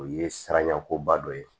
O ye siranɲɛko ba dɔ ye